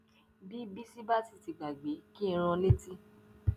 bí bíṣì bá sì ti gbàgbé kí n rán an létí